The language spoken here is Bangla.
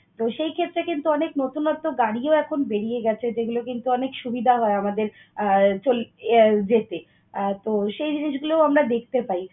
তো, সেই ক্ষেত্রে কিন্তু অনেক নতুনত্ব গাড়িও এখন বেরিয়ে গেছে যেগুলা কিন্তু অনেক সুবিধা হয় আমাদের আহ চলতে আহ যেতে। তো, সেই জিনিসগুলো আমরা দেখতে পাই।